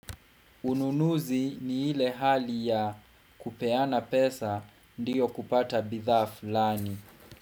Ununuzi ni ile hali ya kupeana pesa ndiyo kupata bidhaa fulani.